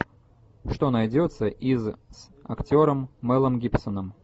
что найдется из с актером мелом гибсоном